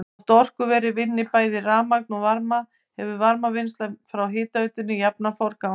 Þótt orkuverið vinni bæði rafmagn og varma hefur varmavinnsla fyrir hitaveitu jafnan forgang.